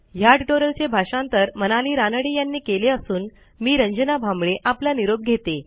या ट्युटोरियलचे भाषांतर मनाली रानडे यांनी केले असून मी रंजना भांबळे आपला निरोप घेते